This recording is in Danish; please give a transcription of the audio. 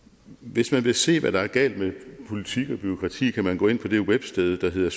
hvis man vil se hvad der er galt med politik og bureaukrati kan man gå ind på det websted der hedder